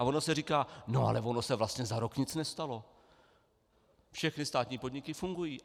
A ono se říká: no ale ono se vlastně za rok nic nestalo, všechny státní podniky fungují.